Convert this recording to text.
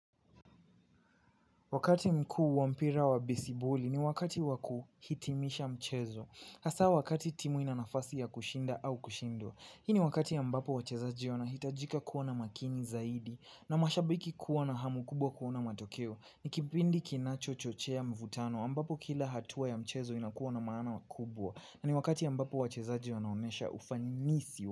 Wakati mkuu wa mpira wa besiboli ni wakati waku hitimisha mchezo hasaa wakati timu ina nafasi ya kushinda au kushindwa hii ni wakati ambapo wachezaji wanahitajika kuwa na makini zaidi na mashabiki kuwa na hamu kubwa kuona matokeo ni kipindi kinacho chochea mvutano ambapo kila hatua ya mchezo inakuwa na maana kubwa na ni wakati ambapo wachezaji wanaonesha ufanyi nisi.